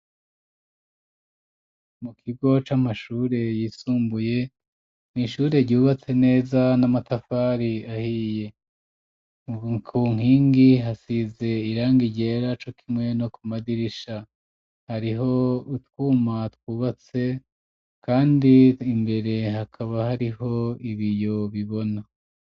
Mu kigo c'amashure yisumbuye n'ishure ryubatse neza n'amatafari ahiye ku nkingi hasize irangi ryera cokimwe no ku madirisha hariho utwuma twubatse kandi imbere hakaba hariho ibiyo bibona.